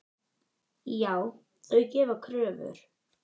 Já, þau gera kröfur.